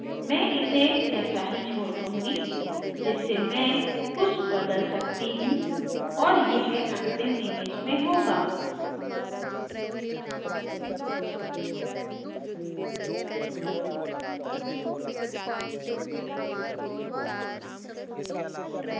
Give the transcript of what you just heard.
मैं इसे ऐसा ही छोड़ दूंगी जिससे मैं कुछ बदल सकती हूँ और यह अंतिम image में होगा